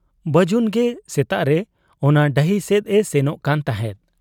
ᱵᱟᱹᱡᱩᱱᱜᱮ ᱥᱮᱛᱟᱜᱨᱮ ᱚᱱᱟ ᱰᱟᱹᱦᱤ ᱥᱮᱫ ᱮᱥᱮᱱᱚᱜ ᱠᱟᱱ ᱛᱟᱦᱮᱸᱫ ᱾